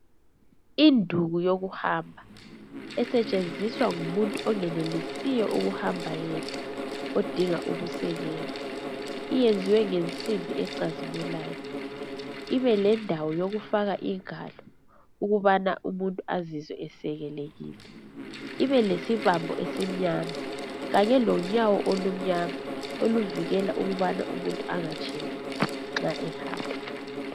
Induku yokuhamba esetshenziswa ngumuntu ongenelisiyo ukuhamba yedwa odingwa ukusekelwa. Iyenziwe ngensimbi ecazimulayo ibe lendawo eyokufaka ingalo ukubana umuntu ezizwe esekelekile, ibe lesibambo esimnyama kanye lonyawo olumnyama oluvikela ukubana umuntu angatsheleli nxa ehamba.